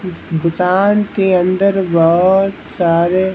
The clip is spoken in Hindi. दुकान के अंदर बहुत सारे--